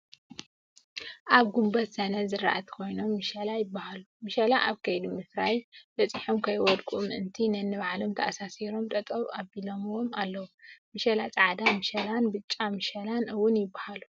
ኣብ ጉንበተ ሰኔ ዝራእቲ ኮይኖም ምሸላ ይበሃሉ ።ምሸላ ኣብ ከይዲ ምፍራይ በፂሖም ከይወድቁ ምእንቲ ንኒባዕሎም ተኣሲሮም ጠጠው ኣቢሎሞም ኣለው። ምሸላ ፃዕዳ ምሸላን ብጫ ምሸላን እውን ይበሃሉ።